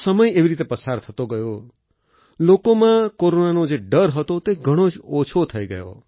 તો સમય એવી રીતે પસાર થતો ગયો લોકોમાં કોરોનાનો જે ડર હતો તે ઘણો જ ઓછો થઈ ગયો